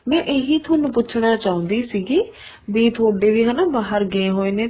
ਮੈਂ ਇਹੀ ਤੁਹਾਨੂੰ ਪੁੱਛਣਾ ਚਾਹੁੰਦੀ ਸੀਗੀ ਵੀ ਤੁਹਾਡੇ ਵੀ ਹੈਨਾ ਬਹਾਰ ਗਏ ਹੋਏ ਨੇ